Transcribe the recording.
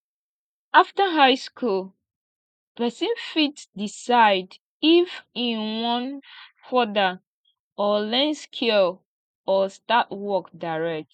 after high school persin fit decide if e won further or learn skill or start work direct